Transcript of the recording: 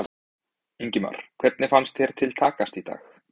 Ingimar: Hvernig finnst þér til takast í dag?